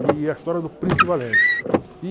E é a história do Príncipe Valente.